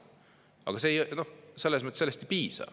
Aga sellest ei piisa.